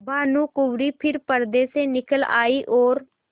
भानुकुँवरि फिर पर्दे से निकल आयी और